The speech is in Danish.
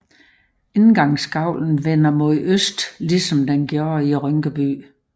Indgangsgavlen vender mod øst ligesom den gjorde i Rynkeby